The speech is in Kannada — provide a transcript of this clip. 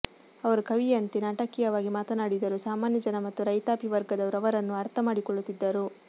ಅವರು ಕವಿಯಂತೆ ನಾಟಕೀಯವಾಗಿ ಮಾತನಾಡಿದರೂ ಸಾಮಾನ್ಯ ಜನ ಮತ್ತು ರೈತಾಪಿ ವರ್ಗದವರು ಅವರನ್ನು ಅರ್ಥ ಮಾಡಿಕೊಳ್ಳುತ್ತಿದ್ದರು